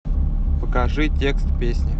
покажи текст песни